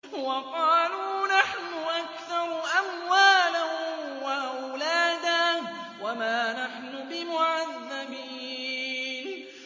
وَقَالُوا نَحْنُ أَكْثَرُ أَمْوَالًا وَأَوْلَادًا وَمَا نَحْنُ بِمُعَذَّبِينَ